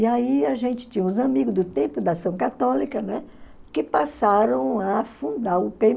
E aí a gente tinha uns amigos do tempo, da ação católica, né, que passaram a fundar o pê